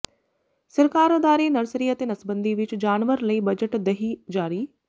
ਸਰਕਾਰ ਅਦਾਰੇ ਨਰਸਰੀ ਅਤੇ ਨਸਬੰਦੀ ਵਿਚ ਜਾਨਵਰ ਲਈ ਬਜਟ ਦਹਿ ਜਾਰੀ